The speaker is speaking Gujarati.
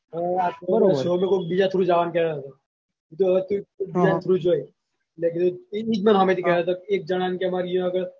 કોક બીજા through જાવાનું કેતો તો બીજા through જોય એ જ મને સામેથી કેતો તો એક જણાને કે મારે એયો આગળ